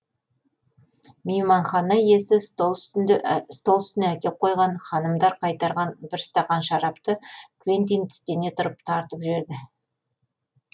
мейманхана иесі стол үстінде стол үстіне әкеп қойған ханымдар қайтарған бір стақан шарапты квентин тістене тұрып тартып жіберді